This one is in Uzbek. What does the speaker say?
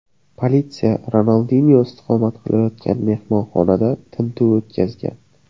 Politsiya Ronaldinyo istiqomat qilayotgan mehmonxonada tintuv o‘tkazgan.